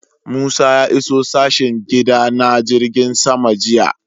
Musa ya iso sashen gida na jirgin sama jiya